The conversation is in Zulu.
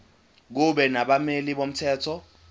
kube nabameli bomthetho